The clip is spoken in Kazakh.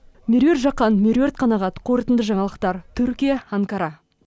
меруерт жақан меруерт қанағат қорытынды жаңалықтар түркия анкара